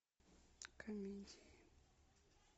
комедии